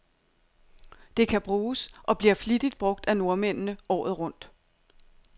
Det kan bruges, og bliver flittigt brug af nordmændene, året rundt.